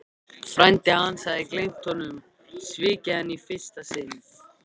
Frændi hans hafði gleymt honum, svikið hann í fyrsta sinn.